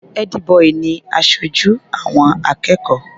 Ẹ́dí-bọì ni aṣojú àwọn akẹ́kọ̀ọ́.